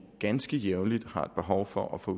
ganske jævnligt har behov for at få